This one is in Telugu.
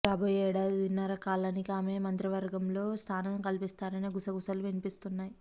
రాబోయే ఏడాదిన్నర కాలానికి ఆమెకు మంత్రి వర్గంలో స్థానం కల్పిస్తారనే గుసగుసలు వినిపిస్తున్నాయి